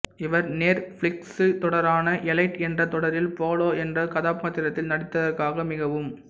இவர் நெற்ஃபிளிக்சு தொடரான எலைட் என்ற தொடரில் போலோ என்ற கதாபாத்திரத்தில் நடித்ததற்காக மிகவும்